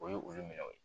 O ye olu minɛ o